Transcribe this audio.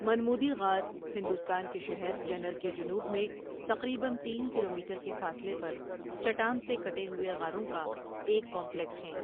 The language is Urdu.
منمودی غار ہندوستان کے شہر جنر کے جنوب میں تقریباً تین کلومیٹر کے فاصلے پر چٹان سے کٹے ہوئے غاروں کا ایک کامپلیکس ہیں.